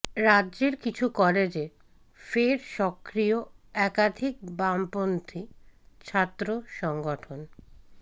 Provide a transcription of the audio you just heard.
রাজ্যের কিছু কলেজে ফের সক্রিয় একাধিক বামপন্থী ছাত্র সংগঠন